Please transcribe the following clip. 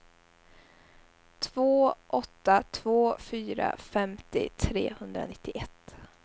två åtta två fyra femtio trehundranittioett